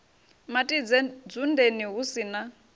matidze dzundeni hu si na